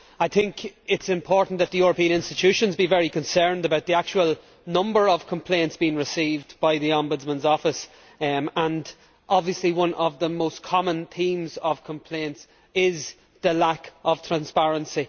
It is important that the European Institutions be very concerned about the actual number of complaints being received by the Ombudsman's office and, obviously, one of the most common themes of complaints is the lack of transparency.